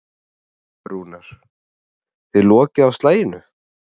Rúnar: Þið lokið á slaginu?